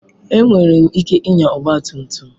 Enwere m ike ịnya ọgba tum tum.